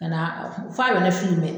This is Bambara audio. Ka na f'a yɛrɛ